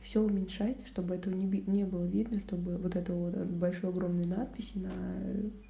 все уменьшается чтобы этого не было видно чтобы вот это вот большой огромный надписи наа